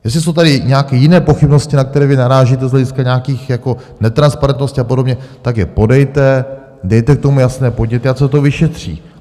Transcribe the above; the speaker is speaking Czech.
Jestli jsou tady nějaké jiné pochybnosti, na které vy narážíte z hlediska nějakých netransparentností a podobně, tak je podejte, dejte k tomu jasné podněty, ať se to vyšetří.